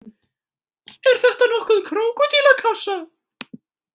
Er þetta nokkuð krókódílakássa?